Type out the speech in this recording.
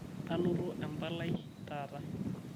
anoto empalai taata